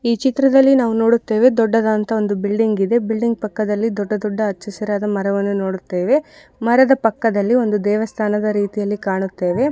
ಈ ಚಿತ್ರದಲ್ಲಿ ನಾವು ನೋಡುತ್ತೇವೆ ದೊಡ್ಡದಂತಹ ಒಂದು ಬಿಲ್ಡಿಂಗ್ ಇದೆ ಬಿಲ್ಡಿಂಗ್ ಪಕ್ಕದಲ್ಲಿ ದೊಡ್ಡ ದೊಡ್ಡ ಹಚ್ಚ ಹಸುರಾದ ಮರವನ್ನು ನೋಡುತ್ತೇವೆ ಮರದ ಪಕ್ಕದಲ್ಲಿ ಒಂದು ದೇವಸ್ಥಾನದ ರೀತಿಯಲ್ಲಿ ಕಾಣುತ್ತೇವೆ.